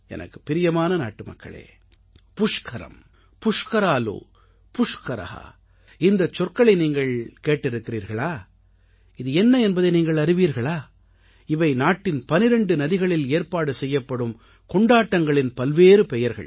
எனக்குப் பிரியமான நாட்டுமக்களே புஷ்கரம் புஷ்கராலு புஷ்கர இந்தச் சொற்களை நீங்கள் கேட்டிருக்கிறீர்களா இது என்ன என்பதை நீங்கள் அறிவீர்களா இவை நாட்டின் 12 நதிகளில் ஏற்பாடு செய்யப்படும் கொண்டாட்டங்களின் பல்வேறு பெயர்கள்